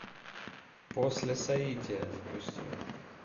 после соития запусти